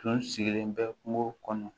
Tun sigilen bɛ kungo kɔnɔ